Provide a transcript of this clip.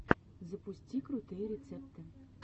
запусти крутые рецепты